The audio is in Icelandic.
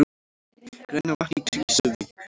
Grænavatn í Krýsuvík.